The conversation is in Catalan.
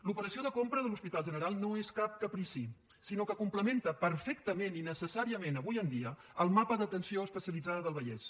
l’operació de compra de l’hospital general no és cap caprici sinó que complementa perfectament i necessàriament avui en dia el mapa d’atenció especialitzada del vallès